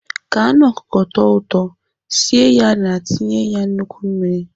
Ka anụ ọkụkọ tọọ ụtọ, sie ya na-etinye ya nnukwu mmiri.